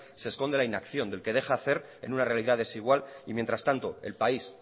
se esconde la inacción del que deja hacer en una realidad desigual y mientras tanto el país